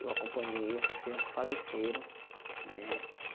Eu acompanhei, essas crianças faleceram, né?